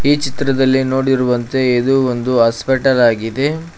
ಈ ಚಿತ್ರದಲ್ಲಿ ನೋಡಿರುವಂತೆ ಇದು ಒಂದು ಹಾಸ್ಪಿಟಲ್ ಆಗಿದೆ.